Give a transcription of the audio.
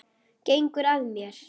Gengur að mér.